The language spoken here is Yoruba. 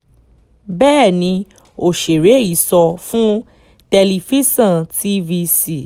bẹ́ẹ̀ ni òṣèré yìí sọ fún tẹlifíṣàn tvc